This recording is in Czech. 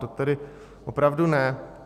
To tedy opravdu ne.